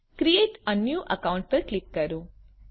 create a new account પર click કરો